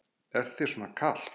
Er þér svona kalt?